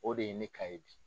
O de ye ne ka ye bi.